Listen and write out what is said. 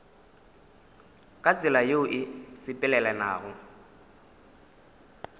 ka tsela yeo e sepelelanago